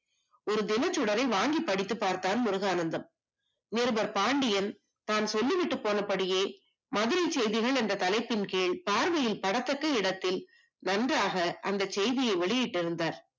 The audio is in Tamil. ஒரு தினச்சுடரை வாங்கி படித்துப் பார்த்தான் முருகானந்தம் நிருபர் பாண்டியன் தான் சொல்லிவிட்டு போனபடியே மதுரை செய்தியின் அந்த தலைப்பின் கீழ் பார்வையில் படத்தக்க இடத்தில் நன்றாக அந்த செய்தியை வெளியிட்டு இருந்தார்